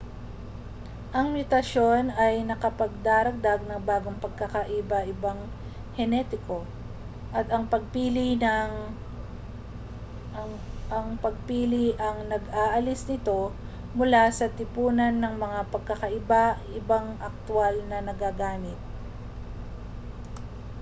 ang mutasyon ay nakapagdaragdag ng bagong pagkakaiba-ibang henetiko at ang pagpili ang nag-aalis nito mula sa tipunan ng mga pagkakaiba-ibang aktwal na nagagamit